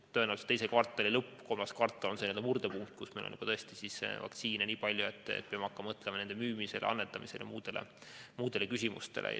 Tõenäoliselt teise kvartali lõpp või kolmas kvartal on murdepunkt, kus meil on vaktsiini tõesti nii palju, et peame hakkama mõtlema selle müümisele, annetamisele ja muudele küsimustele.